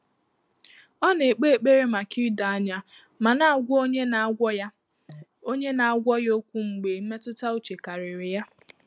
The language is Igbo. Ọ́ nà-ékpé ékpèré màkà ídòányá mà nà-àgwá ọ́nyé nà-àgwọ́ yá ọ́nyé nà-àgwọ́ yá ókwú mgbè mmétụ́tà úchè kàrị́rị̀ yá.